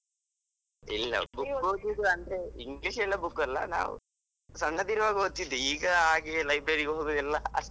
ಇಲ್ಲ book ಓದುದ್ ಅಂದ್ರೆ English ಎಲ್ಲ book ಅಲ್ಲ, ನಾವ್ ಸಣ್ಣದಿರುವಾಗ ಓದ್ತಾಯಿದ್ವಿ ಈಗ ಹಾಗೆಲ್ಲ library ಗೆ ಹೋಗುದು ಎಲ್ಲ.